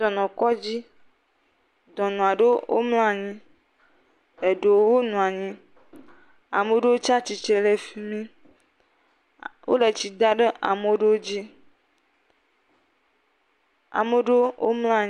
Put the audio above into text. Dɔnɔkɔdzi, dɔnɔ ɖewo mlɔ anyi, ɖewo nɔ anyi. Ame aɖewo tsi atsitre ɖe fi mi. Wole tsi dam ɖe ame ɖewo dzi.